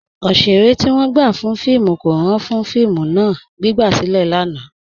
Ọṣẹ̀rẹ̀ ti wọn gbà fún fíìmù wọn kò ràn fún fíìmù náà, gbigbasilẹ̀ lánà.